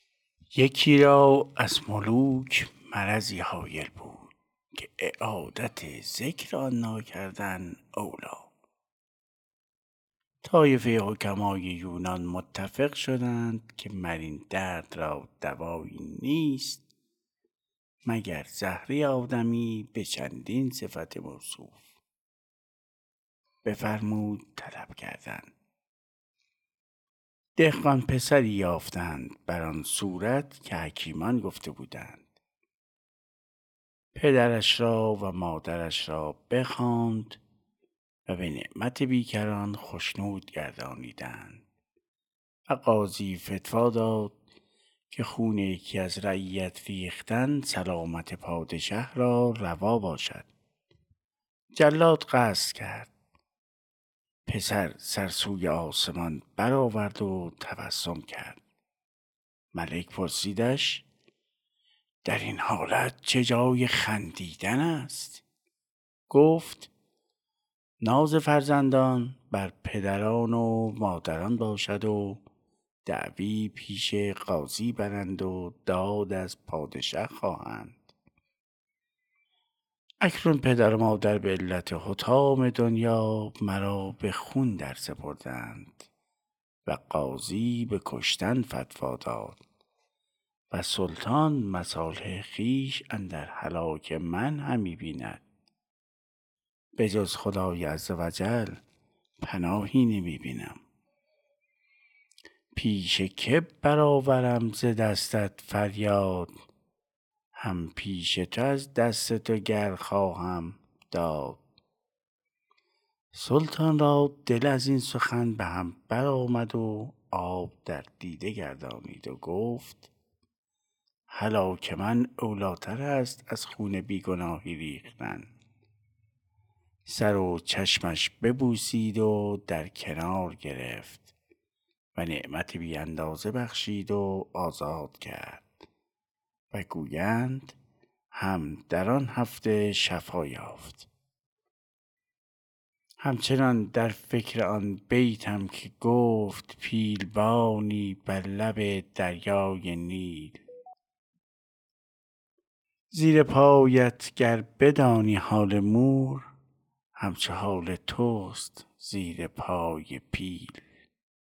یکی را از ملوک مرضی هایل بود که اعادت ذکر آن ناکردن اولیٰ طایفه حکمای یونان متفق شدند که مر این درد را دوایی نیست مگر زهره آدمی به چندین صفت موصوف بفرمود طلب کردن دهقان پسری یافتند بر آن صورت که حکیمان گفته بودند پدرش را و مادرش را بخواند و به نعمت بیکران خشنود گردانیدند و قاضی فتویٰ داد که خون یکی از رعیت ریختن سلامت پادشه را روا باشد جلاد قصد کرد پسر سر سوی آسمان بر آورد و تبسم کرد ملک پرسیدش که در این حالت چه جای خندیدن است گفت ناز فرزندان بر پدران و مادران باشد و دعوی پیش قاضی برند و داد از پادشه خواهند اکنون پدر و مادر به علت حطام دنیا مرا به خون درسپردند و قاضی به کشتن فتویٰ داد و سلطان مصالح خویش اندر هلاک من همی بیند به جز خدای عزوجل پناهی نمی بینم پیش که بر آورم ز دستت فریاد هم پیش تو از دست تو گر خواهم داد سلطان را دل از این سخن به هم بر آمد و آب در دیده بگردانید و گفت هلاک من اولیٰ تر است از خون بی گناهی ریختن سر و چشمش ببوسید و در کنار گرفت و نعمت بی اندازه بخشید و آزاد کرد و گویند هم در آن هفته شفا یافت هم چنان در فکر آن بیتم که گفت پیل بانی بر لب دریای نیل زیر پایت گر بدانی حال مور هم چو حال توست زیر پای پیل